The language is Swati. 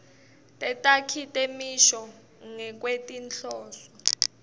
tetakhi temisho ngekwetinhloso